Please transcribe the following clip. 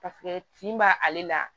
Paseke tin b'a ale la